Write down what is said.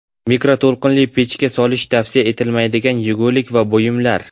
Mikroto‘lqinli pechga solish tavsiya etilmaydigan yegulik va buyumlar .